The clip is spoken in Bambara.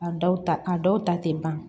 A dɔw ta a dɔw ta te ban